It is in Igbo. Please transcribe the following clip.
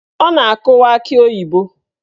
Ọ na-akụwa akị oyibo.